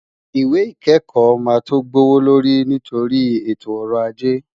Ìwé ìkẹ́kọ̀ọ́ máa tó gbówó lórí nítorí ètò ọrọ̀ ajé.